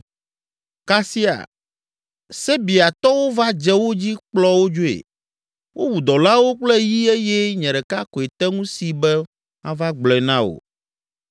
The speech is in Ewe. kasia Sebeatɔwo va dze wo dzi kplɔ wo dzoe. Wowu dɔlawo kple yi eye nye ɖeka koe te ŋu si be mava gblɔe na wò!”